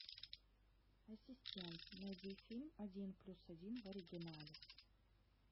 ассистент найди фильм один плюс один в оригинале